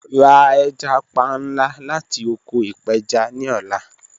Ra ẹja panla lati oko ipeja ni ọla